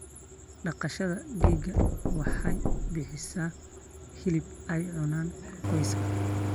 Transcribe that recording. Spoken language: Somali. Dhaqashada digaaga waxay bixisaa hilib ay cunaan qoyska.